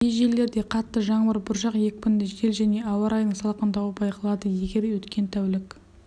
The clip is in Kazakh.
кей жерлерде қатты жаңбыр бұршақ екпінді жел және ауа райының салқындауы байқалады егер өткен тәулік